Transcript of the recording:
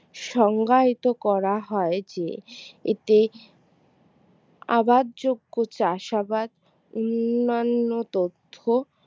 সংজ্ঞায়িত করা হয় যে এতে আবাদ যোগ্য চাষাবাদ অন্যান্য তথ্য